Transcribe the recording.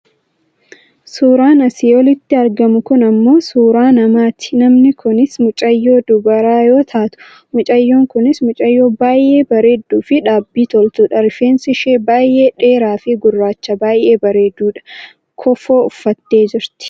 Suuraan asii olitti argamu kun ammoo suuraa namaati. Namni kunis mucayyoo dubaraa yoo taatu, mucayyoon kunis mucayyoo baayyee bareedduufi dhaabbii toltudha. Rifeensi ishee baayyee dhedheeraafi gurraacha baayyee bareedudha. Kofoo uffatteet jirti.